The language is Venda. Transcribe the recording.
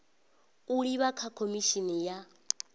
u livha kha khomishini ya